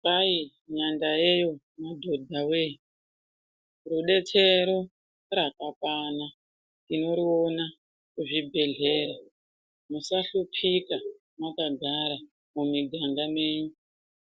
Kwai nyanda yeyo madhodha voye rubetsero rakakwana tinoriona kuzvibhedhlera. Musahlupika makagara mumiganga menyi